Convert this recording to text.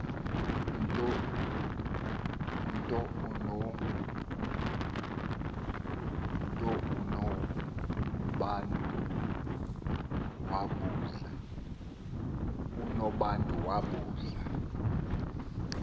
nto unobantu wabuza